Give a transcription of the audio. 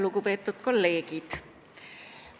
Lugupeetud kolleegid!